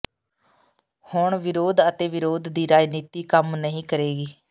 ਹੁਣ ਵਿਰੋਧ ਅਤੇ ਵਿਰੋਧ ਦੀ ਰਾਜਨੀਤੀ ਕੰਮ ਨਹੀਂ ਕਰੇਗੀ